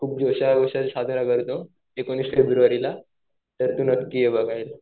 खूप करतो एकोणीस फेब्रुवारीला तर तू नक्की ये बघायला.